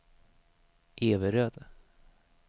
Everöd